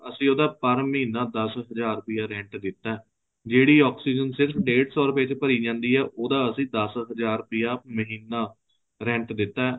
ਅਸੀਂ ਉਹਦਾ ਪਰ ਮਹੀਨਾ ਦਸ ਹਜ਼ਾਰ ਰੁਪਇਆ rent ਦਿੱਤਾ ਜਿਹੜੀ oxygen ਸਿਰਫ਼ ਡੇਡ ਸੋ ਰੁਪਏ ਚ ਭਰੀ ਜਾਂਦੀ ਏ ਉਹਦਾ ਅਸੀਂ ਦਸ ਹਜ਼ਾਰ ਰੁਪਇਆ ਮਹੀਨਾ rent ਦਿੱਤਾ ਏ